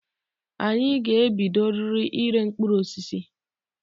Anyị ga-ebidoriri ire mkpụrụ osisi.